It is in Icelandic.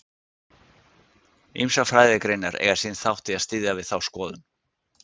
Ýmsar fræðigreinar eiga sinn þátt í að styðja við þá skoðun.